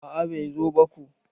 A'a bai zo ba ko.